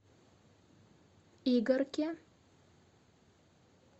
игарке